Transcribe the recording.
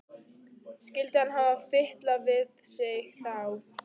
Skyldi hann hafa fitlað við sig þá?